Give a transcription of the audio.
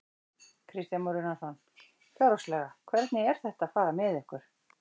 Kristján Már Unnarsson: Fjárhagslega, hvernig er þetta að fara með ykkur?